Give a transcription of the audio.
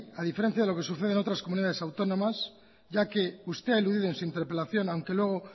a diferencia de lo que sucede en otras comunidades autónomas ya que usted a eludido en su interpelación aunque luego